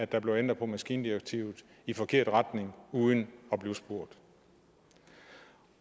der blev ændret på maskindirektivet i forkert retning uden at blive spurgt